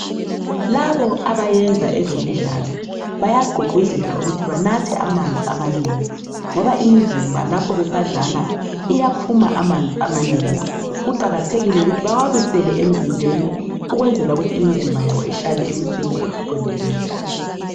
Labo abayenza ezemidlalo, bayagqugquzelwa ukuthi banathe amanzi amanengi ngoba imizimba lapho besadlala iyaphuma amanzi amanengi. Kuqakathekile ukuthi bewabisele emzimbeni ukwenzela ukuthi imizimba yabo ihlale isesimeni esiqondileyo.